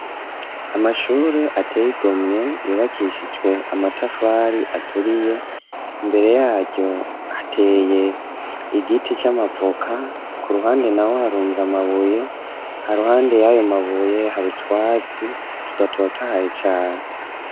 Amashure ateye igomwe yubakishijwe amatafari aturiye mbere yaryo hateye igiti camavoka ku ruhande na ho harunza amabuye ha ruhande y'ayo mabuye harutwatsi tudatotahaye cane.